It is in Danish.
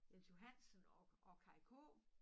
Jens Johansen og og Kaj K